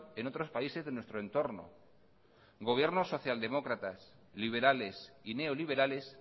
en otros países de nuestro entorno gobiernos social demócratas liberales y neoliberales